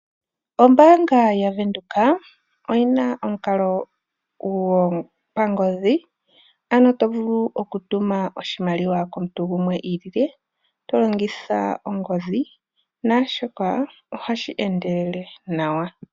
OmbaangabyaBank Windhoek oyi na omukal9 gwopangodhi ano to vulu oku tuma oshimaliwa komuntu gumwe i ili le to longitha ongodhi sho ohashi endelele nawa.